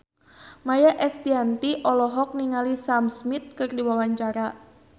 Maia Estianty olohok ningali Sam Smith keur diwawancara